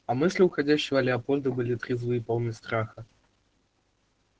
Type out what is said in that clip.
а мысли уходящего лепольда были трезвы и полны страха